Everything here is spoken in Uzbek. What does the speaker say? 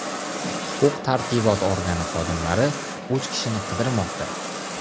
Huquq-tartibot organi xodimlari uch kishini qidirmoqda.